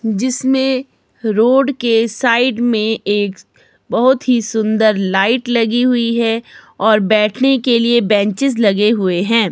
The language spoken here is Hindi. जिसमें रोड के साइड में एक बहोत ही सुंदर लाइट लगी हुई है और बैठने के लिए बेंचेज लगे हुए हैं।